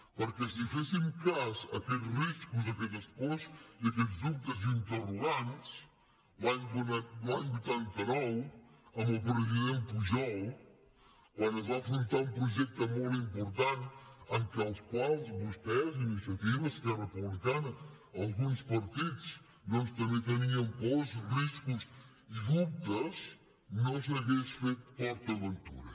perquè si féssim cas a aquests riscos a aquestes pors i a aquests dubtes i interrogants l’any vuitanta nou amb el president pujol quan es va afrontar un projecte molt important en el qual vostès iniciativa esquerra republicana alguns partits doncs també tenien pors riscos i dubtes no s’hauria fet port aventura